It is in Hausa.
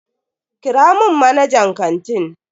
Kira mun manajan kantin.